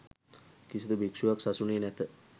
කිසිදු භික්ෂුවක් සසුනේ නැත